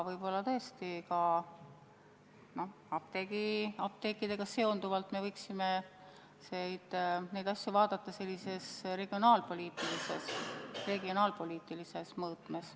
Vahest tõesti ka apteekidega seonduvaid asju me võiksime vaadata regionaalpoliitilises mõõtmes.